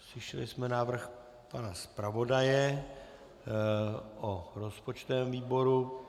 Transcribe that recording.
Slyšeli jsme návrh pana zpravodaje o rozpočtovém výboru.